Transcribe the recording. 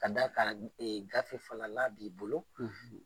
Ka d'a kan gafe fana n'a b'i bolo.